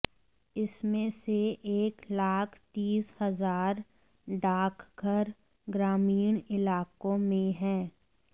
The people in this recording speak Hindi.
इसमें से एक लाख तीस हजार डाकघर ग्रामीण इलाकों में हैं